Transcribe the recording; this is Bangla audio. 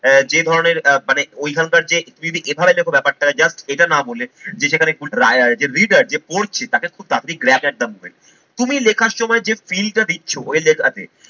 আহ যে ধরনের আহ মানে ঐখানকার যে ব্যাপারটা just এটা না বলে যে leader যে পড়ছে তাকে খুব তাড়াতাড়ি তুমি লেখার সময় যে feel টা দিচ্ছ ওই লেখাতে